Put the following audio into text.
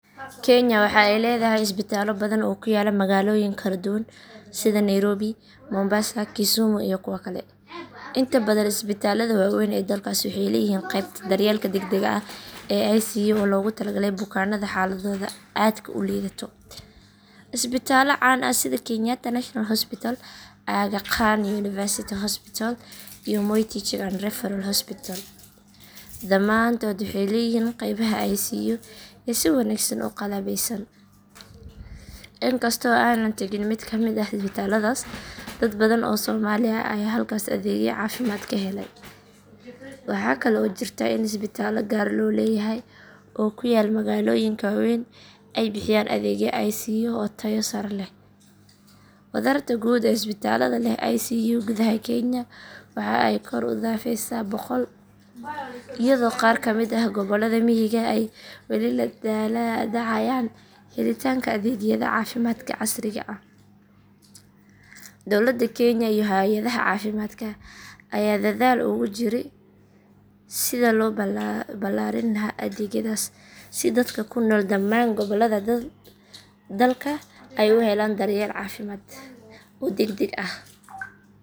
Kenya waxa ay leedahay isbitaallo badan oo ku yaalla magaalooyin kala duwan sida Nairobi, Mombasa, Kisumu iyo kuwa kale. Inta badan isbitaallada waaweyn ee dalkaasi waxay leeyihiin qeybta daryeelka degdegga ah ee ICU oo loogu talagalay bukaanada xaaladdoodu aadka u liidato. Isbitaallo caan ah sida Kenyatta National Hospital, Aga Khan University Hospital, iyo Moi Teaching and Referral Hospital dhammaantood waxay leeyihiin qeybaha ICU ee si wanaagsan u qalabeysan. Inkastoo aanan tagin mid ka mid ah isbitaalladaas, dad badan oo Soomaali ah ayaa halkaas adeegyo caafimaad ka helay. Waxa kale oo jirta in isbitaallo gaar loo leeyahay oo ku yaal magaalooyinka waaweyn ay bixiyaan adeegyo ICU oo tayo sare leh. Wadarta guud ee isbitaallada leh ICU gudaha Kenya waxa ay kor u dhaafaysaa boqol, iyadoo qaar ka mid ah gobollada miyiga ay weli la daalaa dhacayaan helitaanka adeegyada caafimaadka casriga ah. Dowladda Kenya iyo hay'adaha caafimaadka ayaa dadaal ugu jira sidii loo ballaarin lahaa adeegyadaas si dadka ku nool dhamaan gobollada dalka ay u helaan daryeel caafimaad oo degdeg ah.